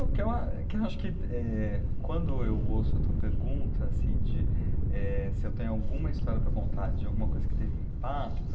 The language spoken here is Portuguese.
É, o que ah, o que eu acho que eh, quando eu ouço a tua pergunta, assim, de, eh, se eu tenho alguma história para contar, de alguma coisa que teve impacto...